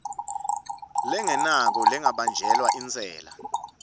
lengenako lengabanjelwa intsela